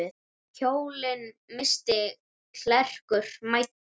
Kjólinn missti klerkur mæddur.